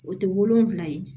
O tɛ wolonfila ye